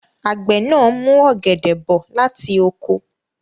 Àgbẹ̀ náà mú ọ̀gẹ̀dẹ̀ bọ̀ láti oko.